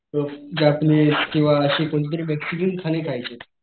अ Japanese किंवा अशी कोणती तरी मेक्सिकन खान खायचेत.